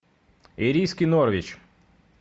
ириски норвич